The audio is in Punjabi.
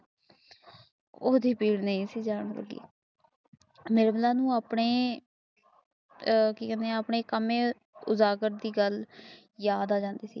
ਉਹ ਵੀ ਦੂਰ ਨਹੀਂ ਸੀ ਜਾਣ ਲੱਗੀ ਮੋਰਲਾ ਨੂੰ ਆਪਣੇ ਆ ਕੇ ਕਾਨੇ ਹਾਂ ਆਪਣੇ ਕਮੇ ਅਜਾਜਕਦ ਦੀ ਗੱਲ ਯਾਦ ਆ ਜਾਂਦੀ ਸੀ